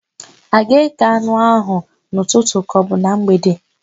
A ga-aga ékè anụ áhụ̀ n'ụtụtụ kaọbụ na mgbede?